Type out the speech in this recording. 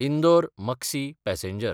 इंदोर–मक्सी passenger